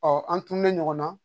an tun bɛ ɲɔgɔn na